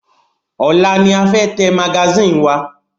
Ọ̀la ni a fẹ́ tẹ magasínì wa.